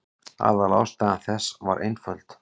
Aðalástæða þess var einföld.